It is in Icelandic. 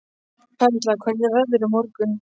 Perla, hvernig er veðrið á morgun?